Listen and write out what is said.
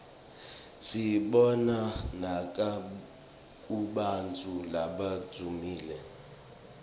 siyibona nakubantfu labadvumile